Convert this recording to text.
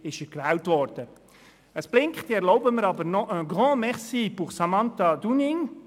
Das Lämpchen blinkt, trotzdem erlaube ich mir noch un grand merci pour Samantha Dunning.